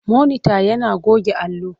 Monita yana goge allo.